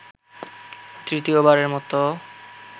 তৃতীয়বারের মতো